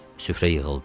Süfrə yığıldı.